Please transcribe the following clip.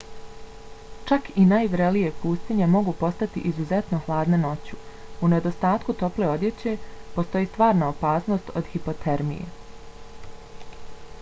čak i najvrelije pustinje mogu postati izuzetno hladne noću. u nedostatku tople odjeće postoji stvarna opasnost od hipotermije